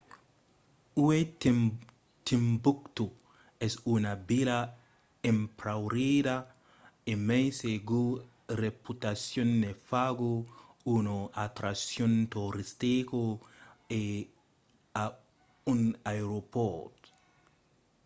uèi timboctó es una vila empaurida e mai se sa reputacion ne faga una atraccion toristica e a un aeropòrt